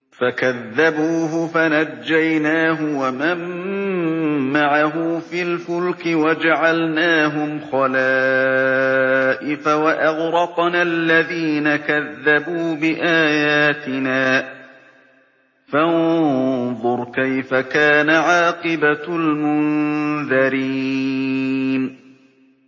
فَكَذَّبُوهُ فَنَجَّيْنَاهُ وَمَن مَّعَهُ فِي الْفُلْكِ وَجَعَلْنَاهُمْ خَلَائِفَ وَأَغْرَقْنَا الَّذِينَ كَذَّبُوا بِآيَاتِنَا ۖ فَانظُرْ كَيْفَ كَانَ عَاقِبَةُ الْمُنذَرِينَ